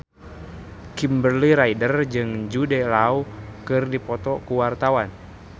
Kimberly Ryder jeung Jude Law keur dipoto ku wartawan